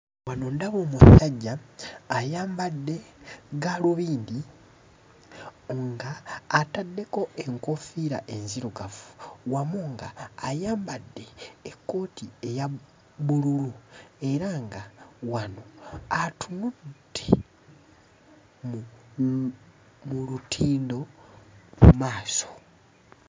Wano ndaba omusajja ayambadde gaalubindi ng'ataddeko enkoofiira enzirugavu wamu ng'ayambadde ekkooti eya bbululu era nga wano atunudde mu mu lutindo mu maaso.